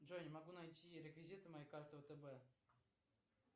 джой не могу найти реквизиты моей карты втб